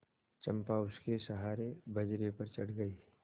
चंपा उसके सहारे बजरे पर चढ़ गई